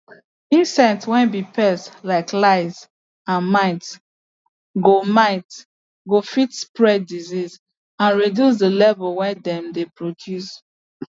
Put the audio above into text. insect way be pest like lice and mites go mites go fit spread disease and reduce the level way them dey produce